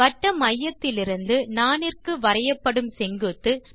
வட்டமையத்திலிருந்து நாணிற்கு வரையப்படும் செங்குத்து